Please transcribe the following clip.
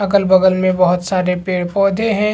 अगल-बगल में बोहत सारे पेड़-पौधे है।